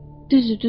Düzdür, düzdür.